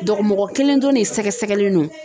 Dɔgɔ mɔgɔ kelen dɔrɔn de sɛgɛsɛgɛlen no.